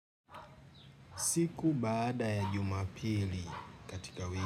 Siku baada ya jumapili katika wiki.